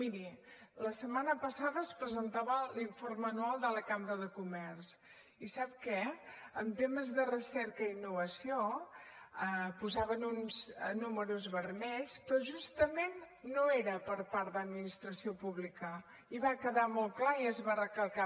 miri la setmana passada es presentava l’informe anual de la cambra de comerç i sap què en temes de recerca i innovació posaven uns números vermells però justament no era per part de l’administració pública i va quedar molt clar i es va recalcar